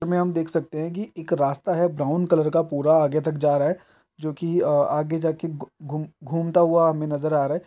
हम देख सकते है की एक रास्ता है ब्राउन कलर का पूरा आगे तक जा रहा है जोकि अ- आगे जाके घू- घूमता हुआ हमें नजर आ रहा है।